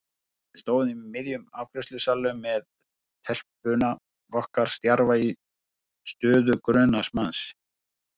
Við stóðum í miðjum afgreiðslusalnum með telpuna okkar stjarfa í stöðu grunaðs manns.